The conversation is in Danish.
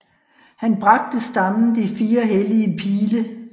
Han bragte stammen de fire hellige pile